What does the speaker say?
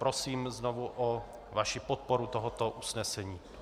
Prosím znovu o vaši podporu tohoto usnesení.